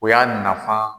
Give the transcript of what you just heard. O y'a nafa